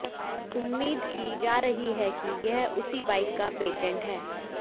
उम्मीद की जा रही है कि यह उसी बाइक का पेटेंट है